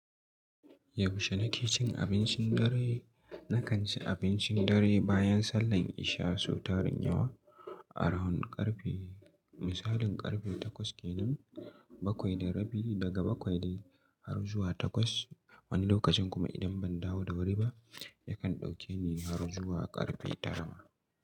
Yaushe na ke cin abincin dare? Na kan ci abincin dare bayan sallan isha sau tarin yawa. Around ƙarfe misalin ƙarfe takwas kenan, bakwai da rabi daga bakwai de har zuwa takwas. Wani lokacin kuma idan ban dawo da wuri ba, ya kan dauke ni har zuwa ƙarfe tara ma.